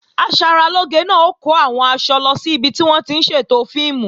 Asaralóge náà ó kó àwọn aṣọ lọ sí ibi tí wọ́n ti ń ṣètò fíìmù